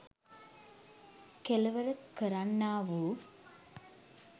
කෙළවර කරන්නා වූ